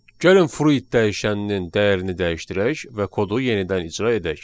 Gəlin fruit dəyişəninin dəyərini dəyişdirək və kodu yenidən icra edək.